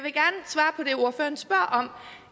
er ordføreren spørger om